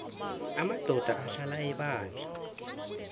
amadoda ahlala ebandla